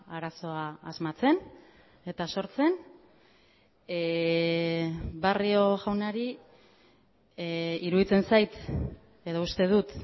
arazoa asmatzen eta sortzen barrio jaunari iruditzen zait edo uste dut